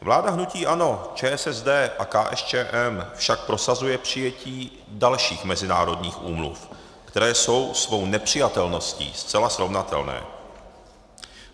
Vláda hnutí ANO, ČSSD a KSČM však prosazuje přijetí dalších mezinárodních úmluv, které jsou svou nepřijatelností zcela srovnatelné.